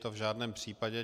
To v žádném případě.